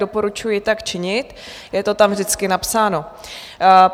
Doporučuji tak činit, je to tam vždycky napsáno.